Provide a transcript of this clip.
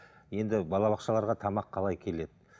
енді балабақшаларға тамақ қалай келеді